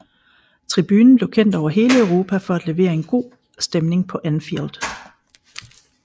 Tribunen blev kendt over hele Europa for at levere en god stemning på Anfield